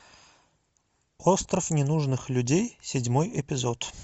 остров ненужных людей седьмой эпизод